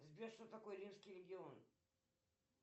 сбер что такое римский легион